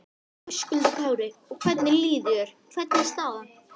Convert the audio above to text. Höskuldur Kári: Og hvernig líður þér, hvernig er staðan?